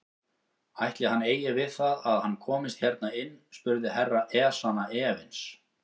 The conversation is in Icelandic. Ætli hann eigi við það að hann komist hérna inn spurði Herra Ezana efins.